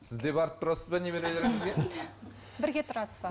сіз де барып тұрасыз ба немерелеріңізге бірге тұрасыз ба